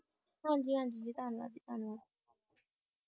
ਹਾਂ ਜੀ ਹਾਂ ਜੀ ਜੀ ਧੰਨਵਾਦ ਵੀ ਤੁਹਾਨੂੰ